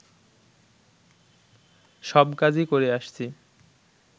সব কাজই করে আসছি